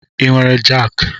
I nwere jaaki?